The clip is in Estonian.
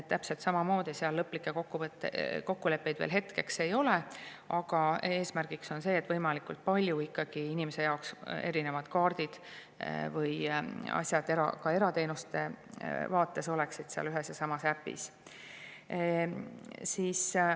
Täpselt samamoodi ei ole lõplikke kokkuleppeid veel selle kohta – aga eesmärgiks see on –, et võimalikult palju erinevaid kaarte või asju erateenuste vaates oleksid inimese jaoks seal ühes ja samas äpis.